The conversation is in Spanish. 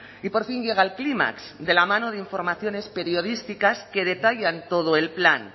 y por fin llega al clímax de la mano de informaciones periodísticas que detallan todo el plan